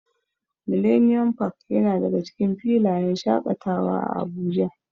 Millennium park yana daga cikin filayen shaƙatawa a Abuja.